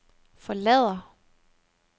forlader